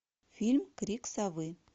фильм крик совы